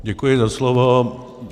Děkuji za slovo.